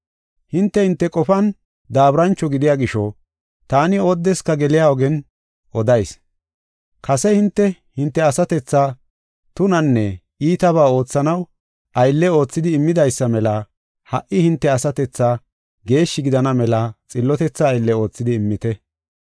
Hinte hinte qofan daaburancho gidiya gisho, taani oodeska geliya ogen odayis. Kase hinte, hinte asatethaa tunanne iitabaa oothanaw aylle oothidi immidaysa mela ha77i hinte asatethaa geeshshi gidana mela xillotetha aylle oothidi immite.